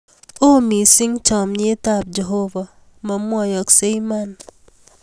O mising cham, nyet ab Jehovah ma mwaoksei iman